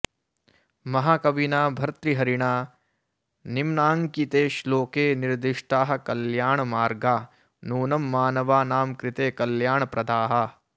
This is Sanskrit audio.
महाकविना भर्तृहरिणा निम्नाङ्किते श्लोके निर्दिष्टाः कल्याणमार्गा नूनं मानवानां कृते कल्याणप्रदाः